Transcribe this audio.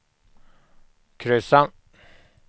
kryssa